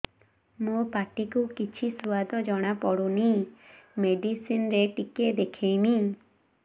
ମୋ ପାଟି କୁ କିଛି ସୁଆଦ ଜଣାପଡ଼ୁନି ମେଡିସିନ ରେ ଟିକେ ଦେଖେଇମି